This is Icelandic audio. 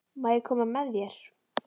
Má ég koma með þér?